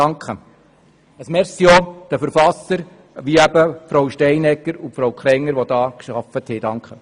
Ein Merci geht an die Verfassenden wie Frau Steinegger und Frau Krenger, die daran gearbeitet haben.